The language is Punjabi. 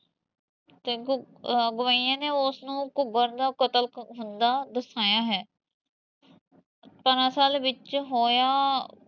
ਤੇ ਗਵਾਈਏ ਨੇ ਓਸ ਨੂੰ ਘੂਗਰ ਦਾ ਕਤਲ ਹੁੰਦਾ ਦਰਸਾਇਆ ਹੈ ਦਰਅਸਲ ਵਿੱਚ ਹੋਇਆ